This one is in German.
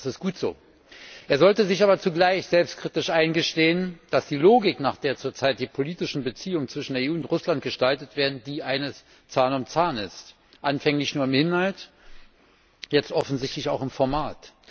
Das ist gut so, er sollte sich aber zugleich selbstkritisch eingestehen, dass die Logik, nach der zurzeit die politischen Beziehungen zwischen der EU und Russland gestaltet werden, die eines Zahn um Zahn ist. Anfänglich nur im Inhalt, jetzt offensichtlich auch im Format.